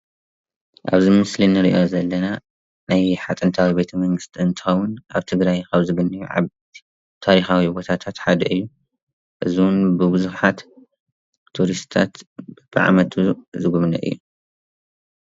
ኣብዚ ምስሊ እንርኦ ዘለና ናይ የሓ ጥንታዊ ቤተ-መንግስቲ ኣብ ትግራይ ዝርከብ ታሪካዊ ቦታታት ሓደ እዩ እዚ ብቡዛሓት ቱሪስትታት በብዓመቱ ዝግብነይ እዩ።